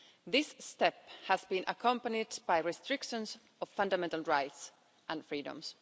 This step has been accompanied by restrictions on fundamental rights and freedoms.